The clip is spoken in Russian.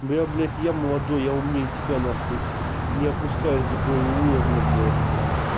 блядь блядь я молодой я умнее тебя нахуй не опускаюсь до твоего уровня блядь